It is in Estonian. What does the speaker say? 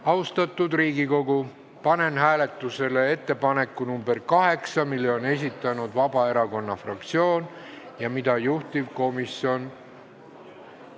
Austatud Riigikogu, panen hääletusele ettepaneku nr 8, mille on esitanud Vabaerakonna fraktsioon ja mida juhtivkomisjon ...